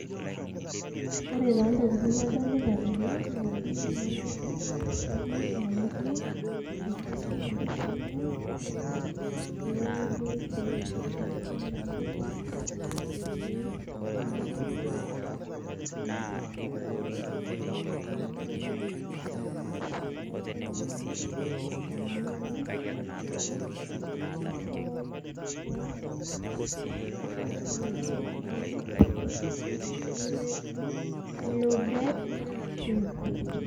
Ore taa ntokiting nadolita tene, naa bill manager, business management, education entertainment, global pay, Safaricom bundles, KCB-mpesa, mpesa, discover more, Safaricom business, my movies Africa, report fraud, games on, ilobet, twiva.